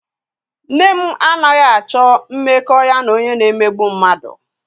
Nne m anaghị m achọ mmekọ ya na onye na-emegbu mmadụ.